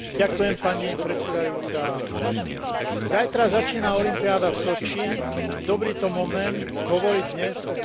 Zajtra začína olympiáda v Soči dobrý to moment hovoriť dnes o bilaterálnych vzťahoch a situácii v Rusku.